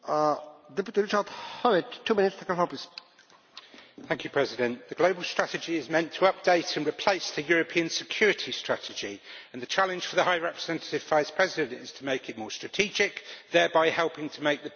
Mr President, the global strategy is meant to update and replace the European Security Strategy, and the challenge for the High Representative Vice President is to make it more strategic, thereby helping to make the people of Europe safer.